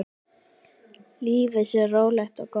Lífið sé rólegt og gott.